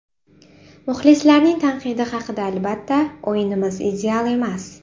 Muxlislarning tanqidi haqida Albatta, o‘yinimiz ideal emas.